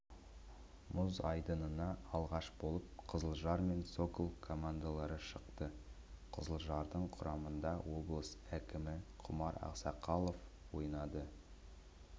мұз айдынына алғаш болып қызылжар мен сокол командалары шықты қызылжардың құрамында облыс әкімі құмар ақсақалов ойнады